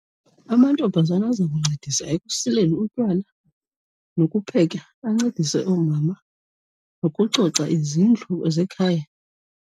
Amantombazana azawuncedisa ekusileni utywala nokupheka, ancedise oomama nokucoca izindlu ezekhaya.